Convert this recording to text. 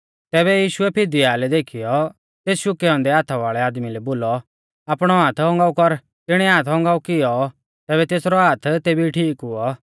तैबै यीशुऐ फिदीआलै देखीयौ तेस शुकै औन्दै हाथा वाल़ै आदमी लै बोलौ आपणौ हाथ औगांऊ कर तिणीऐ हाथ औगांऊ कियौ तैबै तेसरौ हाथ तेबी ठीक हुऔ